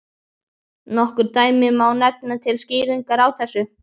Nokkur dæmi má nefna til skýringar á þessu.